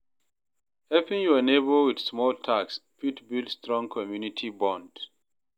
Helping yur neibor with small tasks fit build strong community bond.